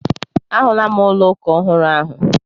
Ahụla m ụlọ ụka ọhụrụ ahụ.